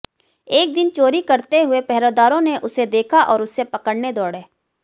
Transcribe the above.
एक दिन चोरी करते हुए पहरेदारों ने उसे देखा और उसे पकड़ने दौड़े